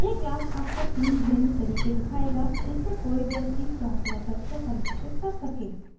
यह क्लास आपको तीन भिन्न तरीके दिखायेगा जिससे कोई व्यक्ति क्लास मेथड्स को परिभाषित कर सके